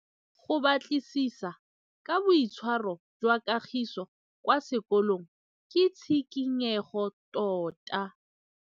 Go batlisisa ka boitshwaro jwa Kagiso kwa sekolong ke tshikinyêgô tota.